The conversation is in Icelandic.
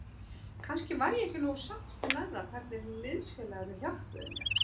Kannski var ég ekki nógu sáttur með það hvernig liðsfélagarnir hjálpuðu mér.